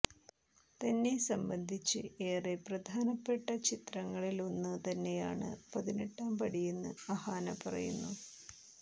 തന്നെ സംബന്ധിച്ച് ഏറെ പ്രധാനപ്പെട്ട ചിത്രങ്ങളിലൊന്ന് തന്നെയാണ് പതിനെട്ടാം പടിയെന്ന് അഹാന പറയുന്നു